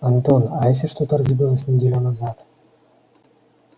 антон а если что-то разбилось неделю назад